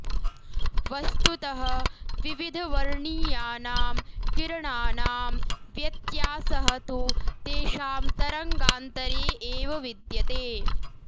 वस्तुतः विविधवर्णीयानां किरणानां व्यत्यासः तु तेषां तरङ्गान्तरे एव विद्यते